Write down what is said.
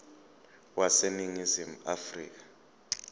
wase ningizimu afrika